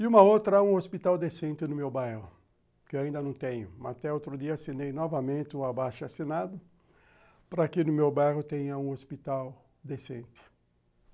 E uma outra, um hospital decente no meu bairro, que ainda não tenho, mas até outro dia assinei novamente o abaixo assinado para que no meu bairro tenha um hospital decente.